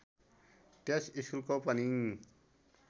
त्यस स्कुलको पनि